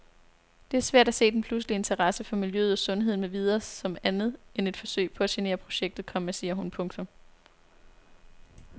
Det er svært at se den pludselige interessse for miljøet og sundheden med videre som andet end et forsøg på at genere projektet, komma siger hun. punktum